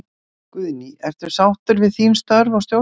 Guðný: Ert þú sáttur við þín störf og stjórnarinnar?